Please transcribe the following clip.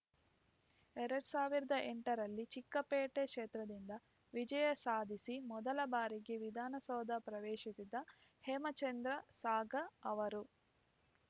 ಎರಡ್ ಸಾವಿರದ ಎಂಟರಲ್ಲಿ ಚಿಕ್ಕಪೇಟೆ ಕ್ಷೇತ್ರದಿಂದ ವಿಜಯ ಸಾಧಿಸಿ ಮೊದಲ ಬಾರಿಗೆ ವಿಧಾನಸೌಧ ಪ್ರವೇಶಿಸಿದ್ದ ಹೇಮಚಂದ್ರ ಸಾಗರ್‌ ಅವರು